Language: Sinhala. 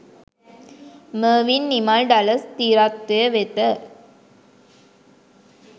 මර්වින් නිමල් ඩලස් ති්‍රත්වය වෙත